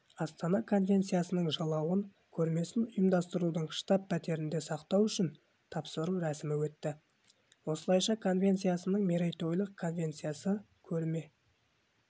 астанада конвенциясының жалауын көрмесін ұйымдастырушының штаб-пәтерінде сақтау үшін тапсыру рәсімі өтті осылайша конвенциясының мерейтойлық конвенциясы көрме